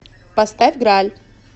поставь граль